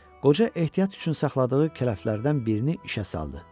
Qoca ehtiyat üçün saxladığı kələflərdən birini işə saldı.